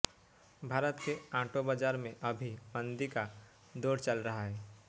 भारत के ऑटो बाजार में अभी मंदी का दौर चल रहा है